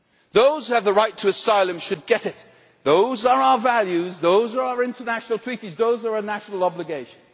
Those who have the right to asylum should get it. Those are our values. Those are our international treaties. Those are our national obligations.